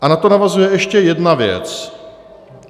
A na to navazuje ještě jedna věc.